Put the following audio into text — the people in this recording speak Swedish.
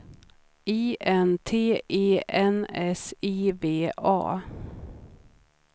I N T E N S I V A